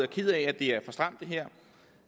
ked af det her er for stramt